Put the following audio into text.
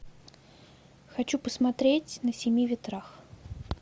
хочу посмотреть на семи ветрах